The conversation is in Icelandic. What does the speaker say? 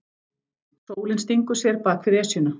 Sólin stingur sér bak við Esjuna.